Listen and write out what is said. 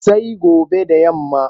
Sai gobe da yamma.